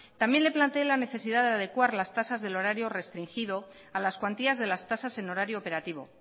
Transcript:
también le planteé la necesidad de adecuar las tasas del horario restringido a las cuantías de las tasas en horario operativo